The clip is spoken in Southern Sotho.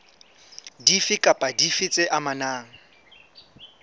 dife kapa dife tse amanang